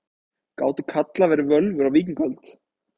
Gátu karlar verið völvur á víkingaöld?